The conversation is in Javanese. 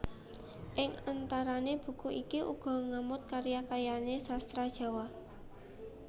Ing antarané buku iki uga ngamot karya karya sastra Jawa